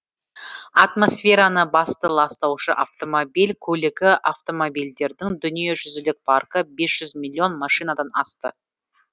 атмосфераны басты ластаушы автомобиль көлігі автомобильдердің дүние жүзілік паркі бес жүз миллион машинадан асты